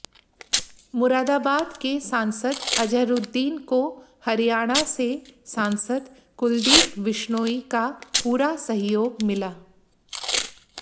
मुरादाबाद के सांसद अजहरूद्दीन को हरियाणा से सांसद कुलदीप बिश्नोई का पूरा सहयोग मिला